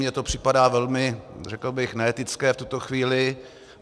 Mně to připadá velmi, řekl bych, neetické v tuto chvíli.